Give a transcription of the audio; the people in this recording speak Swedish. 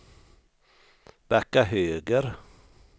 backa höger